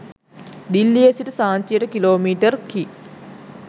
දිල්ලියේ සිට සාංචියට kilometre කි